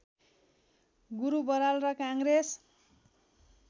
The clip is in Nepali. गुरु बराल र काङ्ग्रेस